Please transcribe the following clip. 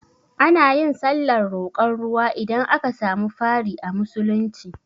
Anayin sallar roƙon ruwa idan aka samu fari a musulunci